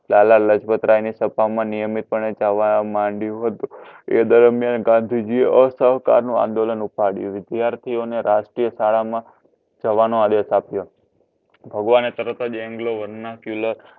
લાલાલાજપતરાયની સભામાં નિયમિત પણે જવા મંડ્યો હતો. તે દરમિયાન ગાંધીજીએ અસહકારનો આંદોલન ઉપાડ્યો. વિદ્યાર્થીઓને રાષ્ટ્રીઓ શાળામાં જવાનો આદેશ આપ્યો. ભગવાને તરત જ englovar ના kyular